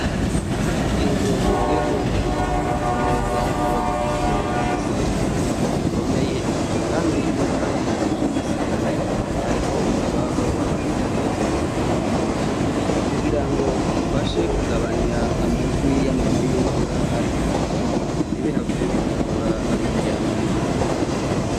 Inzu zigizweho zubatse neza ziba zifise igisenge gikomeye Kandi impande yico Gisenge hariho utubaho bamanika hejuru munzu kugirango gifashe kugabanya amajwi yamama yimvura ntibihave bikangura abiryamiye.